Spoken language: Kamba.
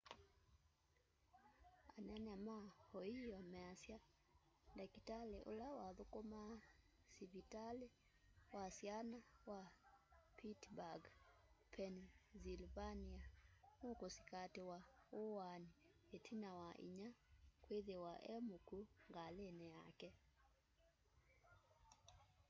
anene ma ohio measya ndakitali ula wathukumaa sivitalia wa syana wa pittsburgh pennsylvania nukusikatiwa uwaani itina wa inya kwithiwa e mukwu ngalini yake